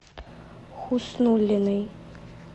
хуснуллиной